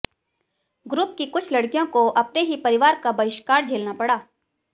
group की कुछ लड़कियों को अपने ही परिवार का बहिष्कार झेलना पड़ा